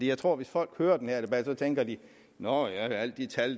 jeg tror at hvis folk hører den her debat tænker de nå ja alle de tal